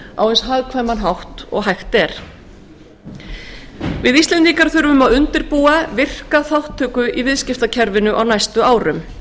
á eins hagkvæman hátt og hægt er íslendingar þurfa að undirbúa virka þátttöku í viðskiptakerfinu á næstu árum